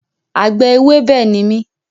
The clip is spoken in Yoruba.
Àgbẹ̀ ewébẹ̀ ni mí